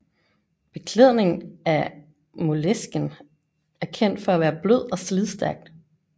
Beklædning af moleskin er kendt for at være blød og slidstærk